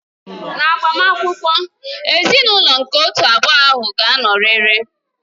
N'agbamakwụkwọ, ezinaụlọ nke otu abụọ ahụ ga-anọrịrị